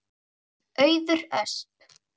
Auður Ösp.